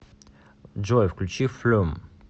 джой включи флюм